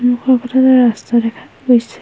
সন্মুখৰ ফালে এটা ৰাস্তা দেখা গৈছে।